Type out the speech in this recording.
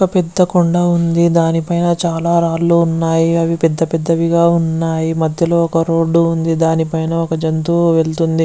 ఒక పెద్ద కొండా దాని పైన చాల రాళ్ళూ ఉన్నాయి అవి పెద్ద పెద్దవి గ ఉన్నాయి మధ్యలో ఒక రోడ్ ఉంది దాని పైన ఒక జంతువు వెళ్తుంది .